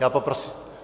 Já poprosím...